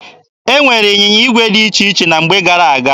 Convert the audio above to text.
E nwere ịnyịnya igwe dị iche iche na mgbe gara aga.